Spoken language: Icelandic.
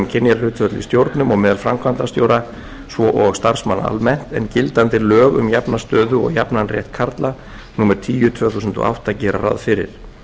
stjórnum og meðal framkvæmdastjóra svo og starfsmanna almennt en gildandi lög um jafna stöðu og jafnan rétt kvenna og karla númer tíu tvö þúsund og átta gera ráð fyrir